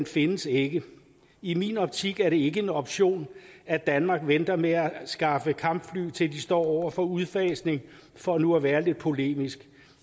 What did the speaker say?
findes ikke i min optik er det ikke en option at danmark venter med at anskaffe kampfly til de står over for udfasning for nu at være lidt polemisk